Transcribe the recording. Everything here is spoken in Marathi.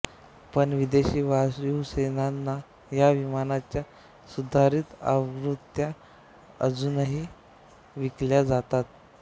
पण विदेशी वायुसेनांना या विमानाच्या सुधारीत आवृत्त्या अजूनही विकल्या जातात